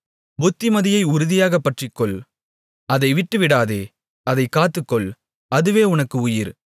புத்திமதியை உறுதியாகப் பற்றிக்கொள் அதை விட்டுவிடாதே அதைக் காத்துக்கொள் அதுவே உனக்கு உயிர்